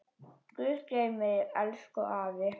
Guð geymi þig, elsku afi.